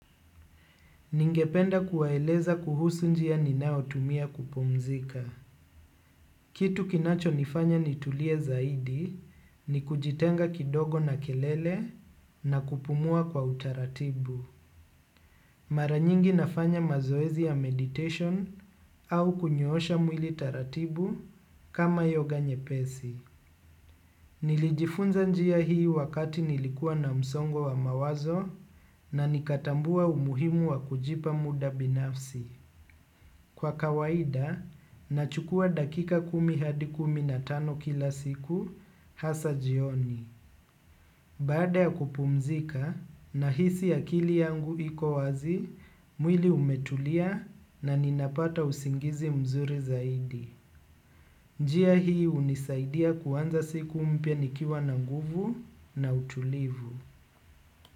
Ningependa kuwaeleza kuhusu njia ninayotumia kupumzika. Kitu kinachonifanya nitulie zaidi ni kujitenga kidogo na kelele na kupumua kwa utaratibu. Mara nyingi nafanya mazoezi ya meditation au kunyoosha mwili taratibu kama yoga nyepesi. Nilijifunza njia hii wakati nilikuwa na msongo wa mawazo na nikatambua umuhimu wa kujipa muda binafsi. Kwa kawaida, nachukua dakika kumi hadi kumi na tano kila siku hasa jioni. Baada ya kupumzika nahisi akili yangu iko wazi, mwili umetulia na ninapata usingizi mzuri zaidi. Njia hii hunisaidia kuanza siku mpya nikiwa na nguvu na utulivu.